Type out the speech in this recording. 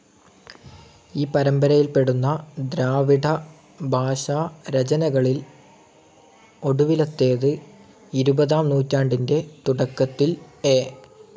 ഈ പരമ്പരയിൽ പെടുന്ന ദ്രാവിഡഭാഷാരചനകളിൽ ഒടുവിലത്തേത്, ഇരുപതാം നൂറ്റാണ്ടിന്റെ തുടക്കത്തിൽ എ.